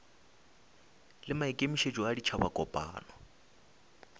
le maikemišetšo a ditšhaba kopano